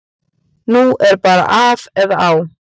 Nú er bara af eða á.